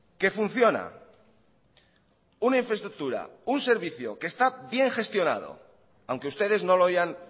que funciona una infraestructura un servicio que está bien gestionado aunque ustedes no lo hayan